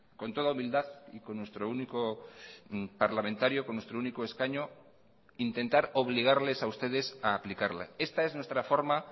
con toda humildad y con nuestro único parlamentario con nuestro único escaño intentar obligarles a ustedes a aplicarla esta es nuestra forma